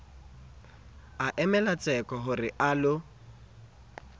a emelwa tseko ho realo